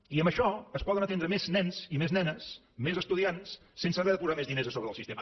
i amb això es poden atendre més nens i més nenes més estudiants sense haver de posar més diners a sobre del sistema